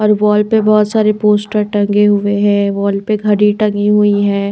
और वॉल पे बहुत सारे पोस्टर टंगे हुए है वॉल पे घड़ी टंगी हुई है।